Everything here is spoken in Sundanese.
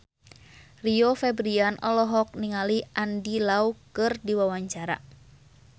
Rio Febrian olohok ningali Andy Lau keur diwawancara